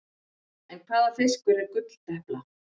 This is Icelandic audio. En hvaða fiskur er gulldepla?